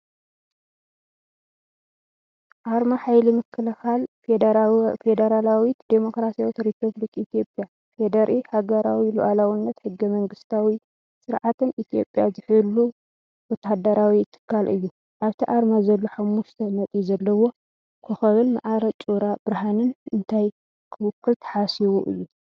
ኣርማ ሓይሊ ምክልኻል ፌደራላዊት ዲሞክራስያዊት ሪፓብሊክ ኢትዮጵያ (FDRE) ሃገራዊ ልኡላውነትን ሕገ መንግስታዊ ስርዓትን ኢትዮጵያ ዝሕሉ ወተሃደራዊ ትካል እዩ። ኣብቲ ኣርማ ዘሎ ሓሙሽተ ነጥቢ ዘለዎ ኮኾብን ማዕረ ጩራ ብርሃንን እንታይ ክውክል ተሓሲቡ እዩ?